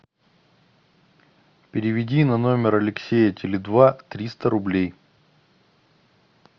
переведи на номер алексея теле два триста рублей